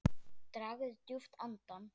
Dragðu djúpt andann!